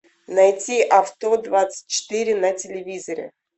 найти авто двадцать четыре на телевизоре